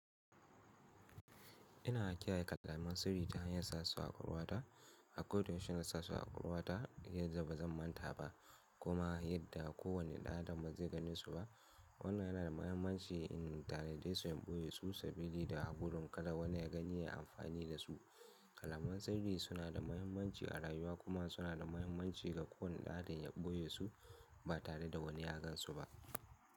Ina kiyaye kalamen sirri ta hanyar sasu a ƙwakwal wata. A koda yaushe ina sasu a ƙwakwal wata ta yadda ba zan manta ba kuma yadda kowane ɗan adam bazai gane su ba. Wannan yana da mahimmanci in tanade su in ɓoye su sabilida da gudun kada wani ya gani ya yi amfani da su. Kalaman sirri suna da mahimmanci a rayuwa kuma suna da mahimmanci ga kowane ɗan adam ya ɓoye su ba tare da wani ya gan su ba.